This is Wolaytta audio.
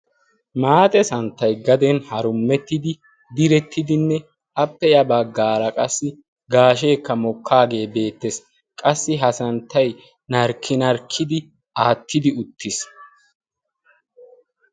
maaxe santtay gaden harummettidi direttidinne appeya baggaara qassi gaasheekka mokkaagee beettees qassi ha santtay narkkinarkkidi aattidi uttiis.